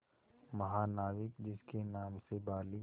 महानाविक जिसके नाम से बाली